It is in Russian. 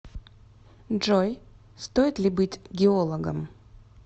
джой стоит ли быть геологом